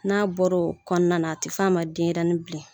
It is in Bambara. N'a bɔra o kɔnɔna na a tɛ f'a ma ko denɲɛrɛnin bilen.